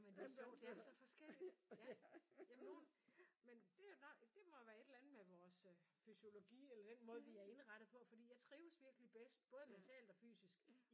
Ja men det er jo sjovt det er så forskelligt. Ja ja men nogen men det er jo det må jo være et eller andet med vores fysiologi eller den måde vi er indrettet på fordi jeg trives virkelig bedst både mentalt og fysisk